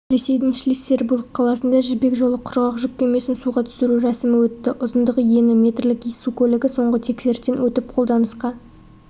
ресейдің шлиссельбург қаласында жібек жолы құрғақ жүк кемесін суға түсіру рәсімі өтті ұзындығы ені метрлік су көлігі соңғы тексерістен өтіп қолданысқа